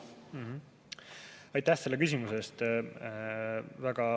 Aitäh selle küsimuse eest!